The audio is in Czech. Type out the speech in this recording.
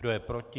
Kdo je proti?